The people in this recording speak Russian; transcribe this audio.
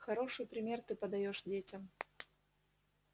хороший пример ты подаёшь детям